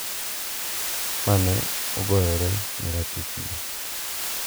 Ma ne ogoyore ne ratichgi.